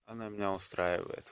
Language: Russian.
она меня устраивает